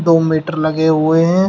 दो मीटर लगे हुए हैं।